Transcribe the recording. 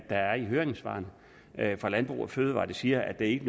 af høringssvaret fra landbrug fødevarer der siger at det ikke